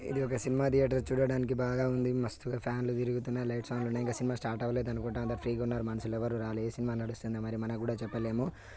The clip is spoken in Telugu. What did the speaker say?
ఇది ఒక సినిమా థియేటర్ చూడడానికి బాగా ఉంది మస్తుగా ఫ్యాన్లు తిరుగుతున్నాయి లైట్స్ ఆన్ లో ఉన్నాయి ఇంకా సినిమా స్టార్ట్ అవలేదు అనుకుంట అందరు ఫ్రీ గా ఉన్నారు మనుషులు రాలే ఎ సినిమా నడుస్తుందో మనం కూడా చెప్పలేం